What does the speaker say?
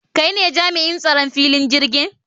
Kai ne jami'in tsaron filin jirgin?